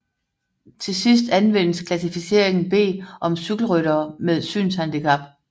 Til sidst anvendes klassificeringen B om cykelryttere med synshandicap